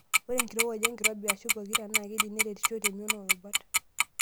Ore enkirowuaj wenkirobi(aashu pokira)naa keidim neretisho temion oorubat.